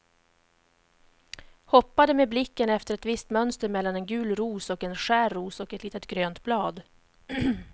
Hoppade med blicken efter ett visst mönster mellan en gul ros och en skär ros och ett litet grönt blad.